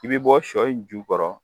I bi bɔ sɔ in ju kɔrɔ